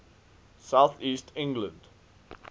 south east england